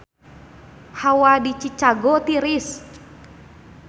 Hawa di Chicago tiris